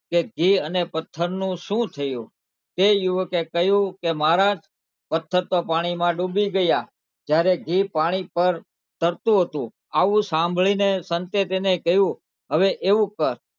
કે અને ઘી અને પથ્થરનું શું થયું? તે યુવકે કહ્યું કે મહારાજ પથ્થર તો પાણીમાં ડૂબી ગયાં જયારે ઘી પાણી પર તરતું હતું આવું સાંભળીને સંતે તેને કહ્યું હવે એવું કર,